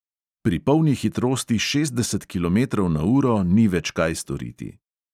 Pri polni hitrosti šestdeset kilometrov na uro ni več kaj storiti.